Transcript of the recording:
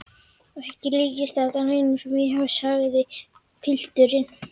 Ekki líkist þetta neinu sem ég hef séð, sagði pilturinn.